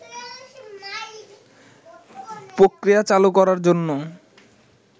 প্রক্রিয়া চালু করার জন্য